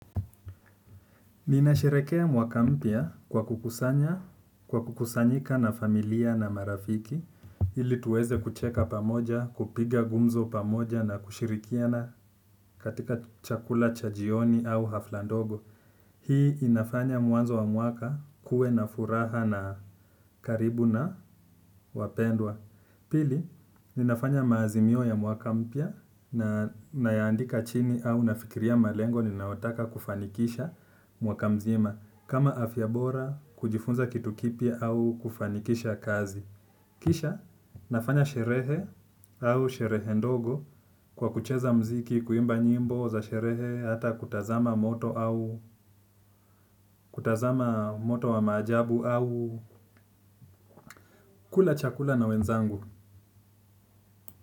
Ninasherehekea mwaka mpya kwa kukusanya, kwa kukusanyika na familia na marafiki, ili tuweze kucheka pamoja, kupiga gumzo pamoja na kushirikiana katika chakula cha jioni au hafla ndogo. Hii inafanya mwanzo wa mwaka kuwe na furaha na karibu na wapendwa. Pili, ninafanya maazimio ya mwaka mpya na nayaandika chini au nafikiria malengo ninayotaka kufanikisha mwaka mzima kama afya bora kujifunza kitu kipya au kufanikisha kazi. Kisha, nafanya sherehe au sherehe ndogo kwa kucheza muziki, kuimba nyimbo za sherehe, hata kutazama moto au kutazama moto wa maajabu au kula chakula na wenzangu.